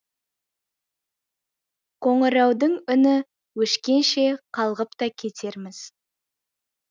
қоңыраудың үні өшкенше қалғып та кетерміз